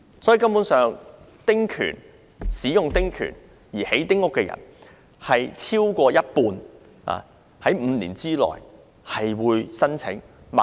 由此可見，使用丁權興建丁屋的人，超過一半會在5年內申請轉讓。